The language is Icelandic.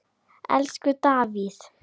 Elsku Davíð.